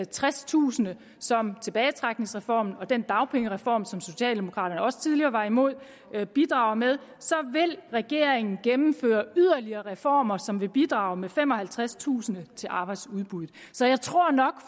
tredstusind som tilbagetrækningsreformen og den dagpengereform som socialdemokraterne også tidligere var imod bidrager med så vil regeringen gennemføre yderligere reformer som vil bidrage med femoghalvtredstusind til arbejdsudbuddet så jeg tror nok